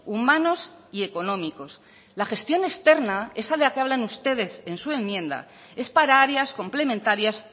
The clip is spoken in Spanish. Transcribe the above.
humanos y económicos la gestión externa esa de la que hablan ustedes en su enmienda es para áreas complementarias